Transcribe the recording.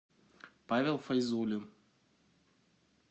павел файзулин